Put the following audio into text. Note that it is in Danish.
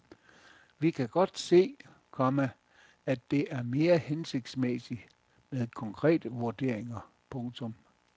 Vi kan godt se, komma at det er mere hensigtsmæssigt med konkrete vurderinger. punktum